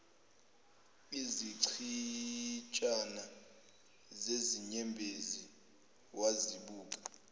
izichitshana zezinyembezi wazibuka